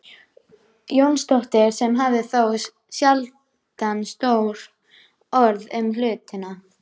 Jónsdóttir sem hafði þó sjaldan stór orð um hlutina.